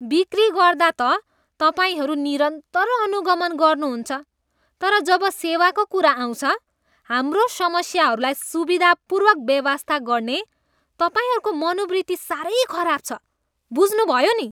बिक्री गर्दा त तपाईँहरू निरन्तर अनुगमन गर्नुहुन्छ तर जब सेवाको कुरा आउँछ, हाम्रो समस्याहरूलाई सुविधापूर्वक बेवास्ता गर्ने तपाईँहरूको मनोवृत्ति साह्रै खराब छ। बुझ्नुभयो नि?